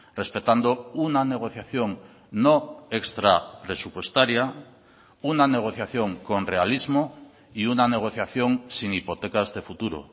respetando una negociación no extrapresupuestaria una negociación con realismo y una negociación sin hipotecas de futuro